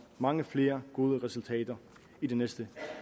mange flere gode resultater i de næste